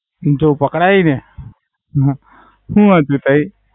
જો પકળાયી ને. હુ હતું તયી?